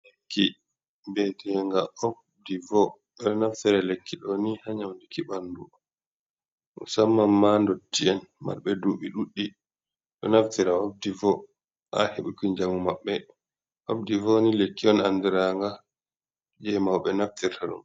Lekki bi'atega obdivo, ɓe ɗo naftire lekki ɗo ni ha nyaudiki ɓandu musamman ma ndotti’en marɓe duɓi ɗuɗi , ɗo naftira obdivo ha heɓuki njamu maɓɓe, obdivo ni lekki on andiiranga je mauɓe naftirta ɗum.